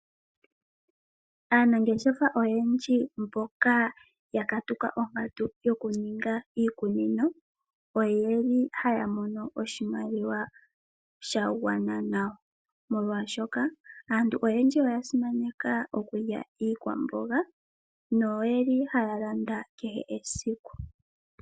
Aanangeshefa oyendji mboka ya katuka onkatu yoku ninga iikunino. Oyeli haya mono oshimaliwa sha gwana nawa ,molwashoka aantu oyendji oya simaneka okulya iikwamboga no yeli haya landa kehesiku.